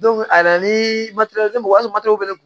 a yɛrɛ ni bɛ ne kun